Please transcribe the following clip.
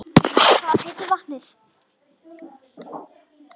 Hvað heitir vatnið?